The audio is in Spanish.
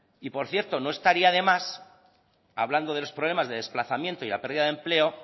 y por cierto no estaría de más hablando de los problemas de desplazamiento y la perdida de empleo